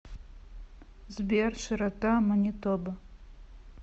сбер широта манитоба